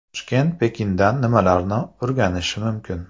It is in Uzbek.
Toshkent Pekindan nimalarni o‘rganishi mumkin?.